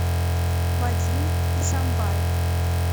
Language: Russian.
вадим исамбаев